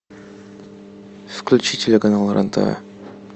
включи телеканал рен тв